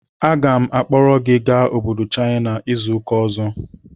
Aga m akpọga gị obodo China izu ụka ọzọ!